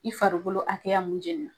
I farikolo hakɛya mun jenna